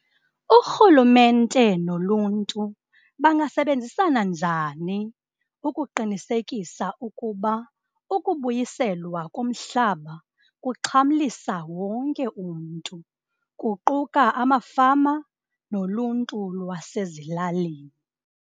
Urhulumente noluntu bangasebenzisana njani ukuqinisekisa ukuba ukubuyiselwa komhlaba kuxhamlisa wonke umntu kuquka amafama noluntu lwasezilalini?